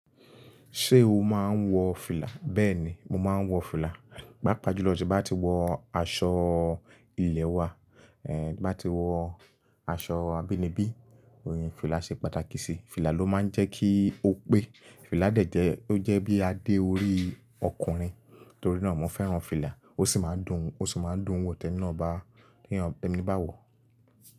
Ṣé o máa ń wọ fìlà? Bẹ́ẹ̀ni, mo máa ń wọ fìlà. Pápa jùlọ tí bá ti wọ aṣọ ilẹ̀ wa, ẹ tí bá ti wọ aṣọ abínibí, òye fìlà ṣe pàtàkì sí. Fìlà ló máa ń jẹ́ kí ó pé. Fìlà dẹ̀ jẹ́, ó jẹ́ bí a dé orí ọkùnrin, torí náà mo fẹ́ràn fìlà. Ó sì máa ń dùn, ó sì máa ń dùn wò tẹ́ ní naa ba, ki eyan tí ẹni bá wọ̀.